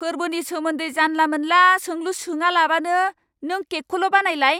फोर्बोनि सोमोन्दै जानला मोनला सोंलु सोङालाबानो नों केकखौल' बानायलाय!